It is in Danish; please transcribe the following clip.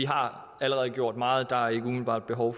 har gjort meget så der er ikke umiddelbart behov